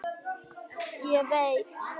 Ég veit